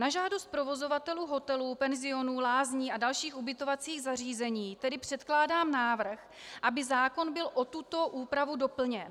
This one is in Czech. Na žádost provozovatelů hotelů, penzionů, lázní a dalších ubytovacích zařízení tedy předkládám návrh, aby zákon byl o tuto úpravu doplněn.